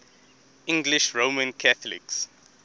english roman catholics